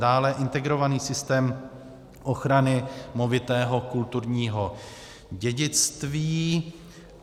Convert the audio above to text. Dále integrovaný systém ochrany movitého kulturního dědictví.